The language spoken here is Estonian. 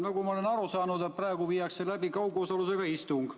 Nagu ma olen aru saanud, praegu viiakse läbi kaugosalusega istung.